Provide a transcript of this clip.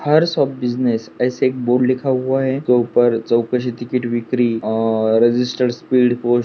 hours of business ऐसा एक board लिखा हुआ है उसके उपर चौकशी तिकीट विक्री और रजिस्टर फील्ड पोस्ट --